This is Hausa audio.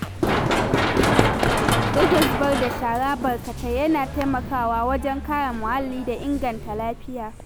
Rage zubar da shara barkatai yana taimakawa wajen kare muhalli da inganta lafiya.